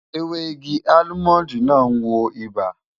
Ewé igi almond maa ń wo ibà